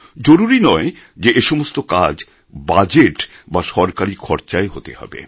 জরুরি নয় যে এসমস্ত কাজ বাজেট বা সরকারী খরচায় হতে হবে